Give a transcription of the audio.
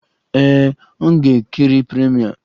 Ee, m gara nkiri premiere.